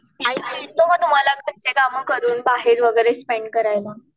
Time मिळतो का तुम्हाला घरचे कामं करून बाहेर वगैरे स्पेंड करायला.